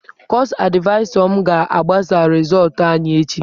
Kọọsụ advaịsa m ga-agbasa rịzọọtụ anyị echi.